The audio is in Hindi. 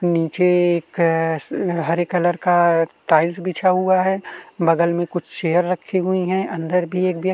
नीचे एक कॅश हरे कलर का टाइल्स बिछा हुआ है बगल में कुछ चेयर रखी हुई है अंदर भी एक व्यक्ति --